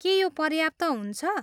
के यो पर्याप्त हुन्छ?